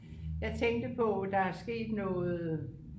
jeg tænkte på der er sket noget